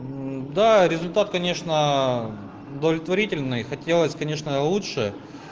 мм да результат конечно удовлетворительный хотелось конечно лучше